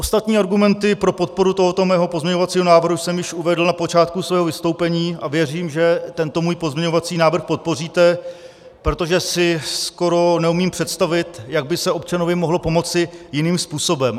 Ostatní argumenty pro podporu tohoto svého pozměňovacího návrhu jsem již uvedl na počátku svého vystoupení a věřím, že tento můj pozměňovací návrh podpoříte, protože si skoro neumím představit, jak by se občanovi mohlo pomoci jiným způsobem.